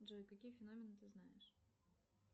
джой какие феномены ты знаешь